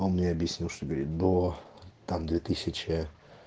он мне объяснил что говорит до там две тысячи